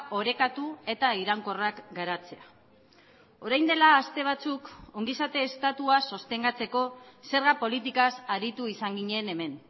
orekatu eta iraunkorrak garatzea orain dela aste batzuk ongizate estatua sostengatzeko zerga politikaz aritu izan ginen hemen